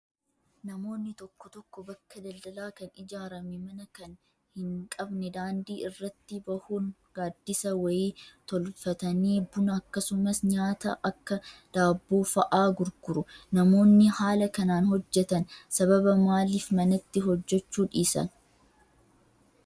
Namoonni tokko tokko bakka daldalaa kan ijaarame mana kan hin qabne daandii irratti bahuun gaaddisa wayii tolfatanii buna akkasumas nyaata akka daabboo fa'aa gurguru. Namoonni haala kanaan hojjatan sababa maaliif manatti hojjachuu dhiisan?